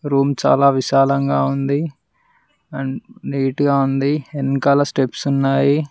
Room చాలా విశాలంగా ఉంది అండ్ నీట్ గా ఉంది ఎనకాల స్టెప్స్ ఉన్నాయి.